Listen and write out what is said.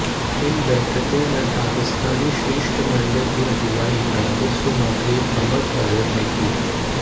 इन बैठकों में पाकिस्तानी शिष्टमंडल की अगुवाई राजस्व मंत्री हम्मद अजहर ने की